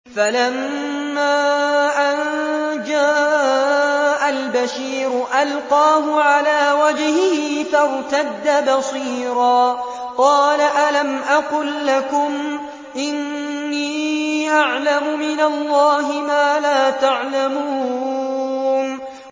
فَلَمَّا أَن جَاءَ الْبَشِيرُ أَلْقَاهُ عَلَىٰ وَجْهِهِ فَارْتَدَّ بَصِيرًا ۖ قَالَ أَلَمْ أَقُل لَّكُمْ إِنِّي أَعْلَمُ مِنَ اللَّهِ مَا لَا تَعْلَمُونَ